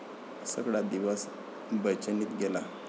सगळा दिवस बेचैनीत गेला.